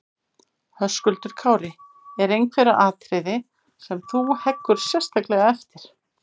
Höskuldur Kári: Eru einhver atriði þarna sem þú heggur sérstaklega eftir?